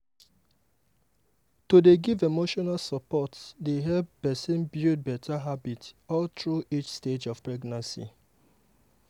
to dey give emotional support dey help person build better habits all through each stage of pregnancy.